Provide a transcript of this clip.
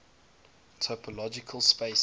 topological spaces